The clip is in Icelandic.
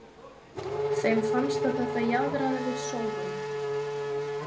Þeim fannst að þetta jaðraði við sóun.